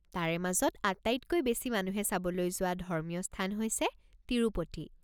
তাৰে মাজত আটাইতকৈ বেছি মানুহে চাবলৈ যোৱা ধৰ্মীয় স্থান হৈছে তিৰুপতি।